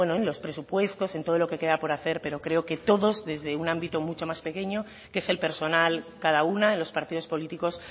en los presupuestos en todo lo que queda por hacer pero creo que todo desde un ámbito mucho más pequeño que es el personal cada una de los partidos políticos